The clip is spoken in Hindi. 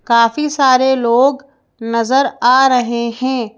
काफी सारे लोग नजर आ रहे हैं।